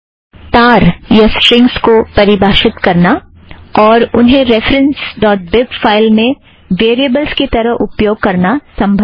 तार या स्ट्रींगज़ को परिभाषित करना और उन्हें रेफ़ ड़ॉट बिब फ़ाइल में वेरियबलज़ की तरह उपयोग करना संभव है